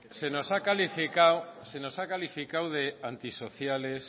se nos ha calificado de antisociales